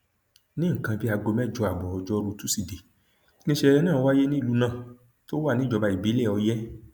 ní nǹkan bíi aago mẹjọ ààbọ ojórù tosidee nìṣẹlẹ náà wáyé nílùú náà tó wà níjọba ìbílẹ ọyẹ